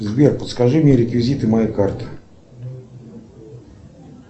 сбер подскажи мне реквизиты моей карты